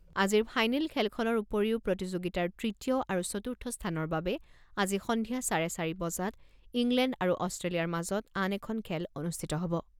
আজিৰ ফাইনেল খেলখনৰ উপৰিও প্ৰতিযোগিতাৰ তৃতীয় আৰু চতুৰ্থ স্থানৰ বাবে আজি সন্ধিয়া চাৰে চাৰি বজাত ইংলেণ্ড আৰু অষ্ট্ৰেলিয়াৰ মাজত আন এখন খেল অনুষ্ঠিত হ'ব।